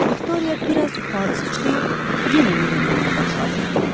Viktoriya biraz yuxarı sıçrayıb, yenə yerə enməyə başladı.